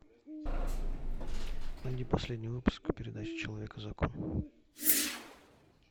найди последний выпуск передачи человек и закон